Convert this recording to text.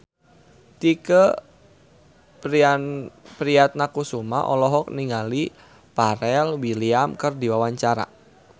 Tike Priatnakusuma olohok ningali Pharrell Williams keur diwawancara